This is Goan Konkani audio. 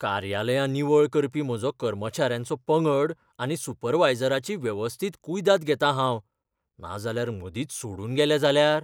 कार्यालयां निवळ करपी म्हजो कामेऱ्यांचो पंगड आनी सुपरवायझराची वेवस्थीत कुयदाद घेतां हांव. नाजाल्यार मदींच सोडून गेले जाल्यार?